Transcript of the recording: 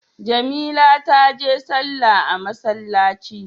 Jamila taje sallah a masallci.